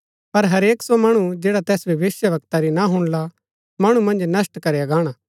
पर हरेक सो मणु जैडा तैस भविष्‍यवक्ता री ना हुणला मणु मन्ज नष्‍ट करया गाणा